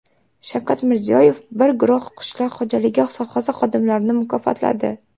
Shavkat Mirziyoyev bir guruh qishloq xo‘jaligi sohasi xodimlarini mukofotladi.